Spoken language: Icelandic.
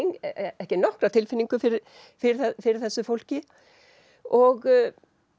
ekki nokkra tilfinningu fyrir fyrir fyrir þessu fólki og